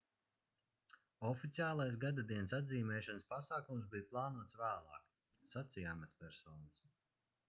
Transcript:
oficiālais gadadienas atzīmēšanas pasākums bija plānots vēlāk sacīja amatpersonas